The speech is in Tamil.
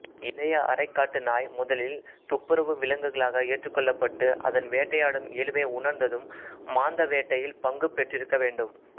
இளைய அரைக்காட்டு நாய் முதலில் துப்புரவு விலங்குகளாக ஏற்ருக்கொள்ளப்பட்டு அதன் வேட்டையாடும் இயல்பை உணர்ந்ததும் மாந்த வேட்டையில் பங்கு பெற்றிருக்கவேண்டும்